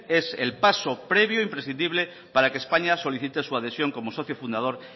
es el paso previo imprescindible para que españa solicite su adhesión como socio fundador